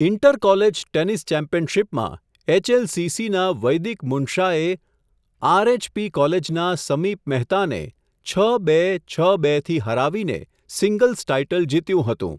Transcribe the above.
Inter college, tennis ચેમ્પિયનશીપમાં, એચએલસીસીના, વૈદિક મુન્શાએ, આરએચપી કોલેજના, સમીપ મહેતાને, છ બે, છ બે થી હરાવીને સિંગલ્સ ટાઇટલ જીત્યું હતુ.